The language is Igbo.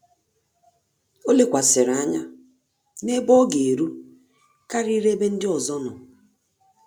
Ọ́ lékwàsị̀rị̀ ányá n’ébé ọ́ gà-érú kàrị́rị́ ébé ndị ọzọ nọ́.